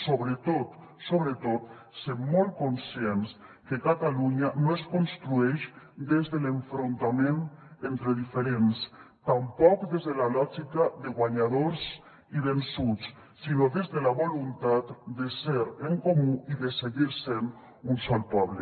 sobretot sobretot ser molt conscients que catalunya no es construeix des de l’enfrontament entre diferents tampoc des de la lògica de guanyadors i vençuts sinó des de la voluntat de ser en comú i de seguir sent un sol poble